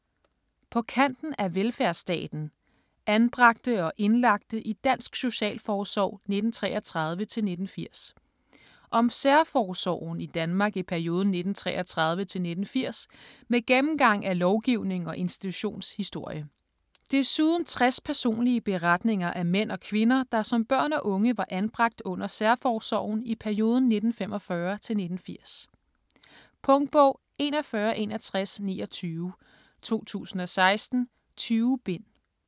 På kanten af velfærdsstaten: anbragte og indlagte i dansk socialforsorg 1933-1980 Om særforsorgen i Danmark i perioden 1933-1980 med gennemgang af lovgivning og institutionshistorie. Desuden 60 personlige beretninger af mænd og kvinder, der som børn og unge var anbragt under særforsorgen i perioden 1945-1980. Punktbog 416129 2016. 20 bind.